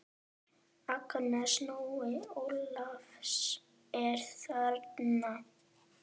Agnes, Nonni Ólafs er þarna!